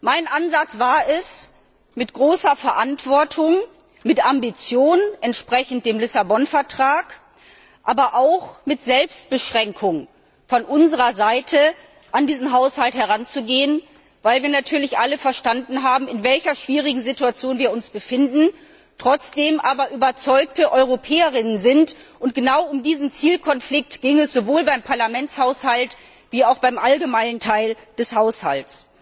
Mein Ansatz war es, mit großer Verantwortung, mit Ambition entsprechend dem Lissabon Vertrag, aber auch mit Selbstbeschränkung von unserer Seite an diesen Haushalt heranzugehen, weil wir natürlich alle verstanden haben, in welcher schwierigen Situation wir uns befinden, trotzdem aber überzeugte EuropäerInnen sind. Genau um diesen Zielkonflikt ging es sowohl beim Parlamentshaushalt wie auch beim allgemeinen Teil des Haushalts.